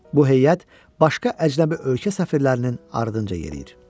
Bu heyət başqa əcnəbi ölkə səfirlərinin ardınca yeriyir.